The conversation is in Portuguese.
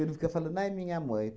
fica falando, ai, minha mãe.